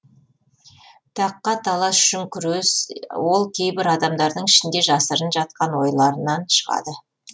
таққа талас үшін күрес ол кейбір адамдардың ішінде жасырын жатқан ойларынан шығады